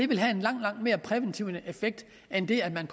vil have en langt langt mere præventiv effekt end det at man